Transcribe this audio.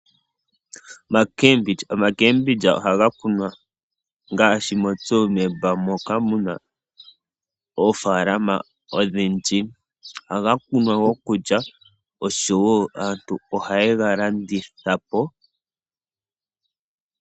Omakeembilyi, omakeembilyi ohaga kunwa ngaashi moTsumeb moka muna oofaalama odhindji. Ohagakunwa gokulya osho wo aantu ohaye galandithapo.